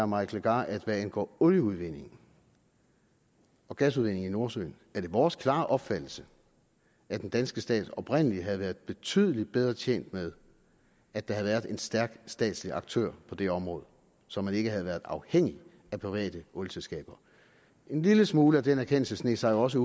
mike legarth at hvad angår olieudvindingen og gasudvindingen i nordsøen er det vores klare opfattelse at den danske stat oprindelig havde været betydelig bedre tjent med at der havde været en stærk statslig aktør på det område så man ikke havde været afhængig af private olieselskaber en lille smule af den erkendelse sneg sig jo også